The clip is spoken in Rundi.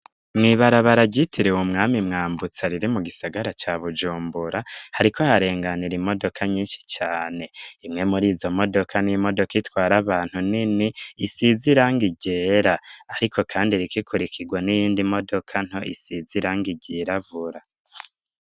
Mw'ibarabara, ryitiriwe umwami Mwambutsa, riri mu gisagara ca Bujumbura, hariko harenganira, imodoka nyinshi cane; imwe muri izo modoka, ni imodoka itwara abantu, nini, isize irangi ryera; ariko kandi, iriko ikurikirwa n'iyindi modoka nto, isize irangi ryirabura.